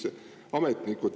Teie aeg!